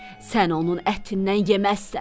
Sən onun ətindən yeməzsən.